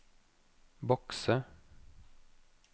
bokse